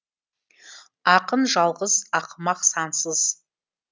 ақын жалғыз ақымақ сансыз